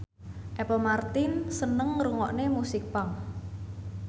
Apple Martin seneng ngrungokne musik punk